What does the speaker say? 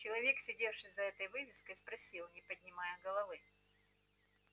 человек сидевший за этой вывеской спросил не поднимая головы